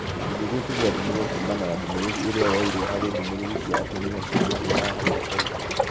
Gĩcunjĩ gĩkĩ gĩathimirwo kuumana na ndũmĩrĩri ĩrĩa yoirwo harĩ ndũmĩrĩri cĩa atumia cia mahu ma haũ kabere